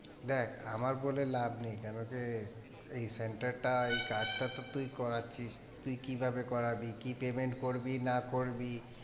দেখ আমার বলে লাভ নেই, কেন কি এই center টা এই কাজটা তো তুই করাচ্ছিস, তুই কিভাবে করাবি কি payment করবি না করবি,